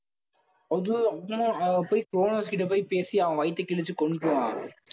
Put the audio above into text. போய் குரோனோஸ் கிட்ட போய் பேசி, அவன் வயித்தை கிழிச்சு கொன்னுபுடுவான்.